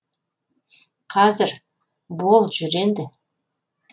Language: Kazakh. қазір бол жүр енді